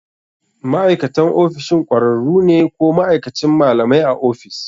Ma'aikatan ofishin ƙwararru ne ko ma'aikacin malamai a ofis.